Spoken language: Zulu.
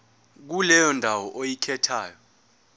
kuleyo ndawo oyikhethayo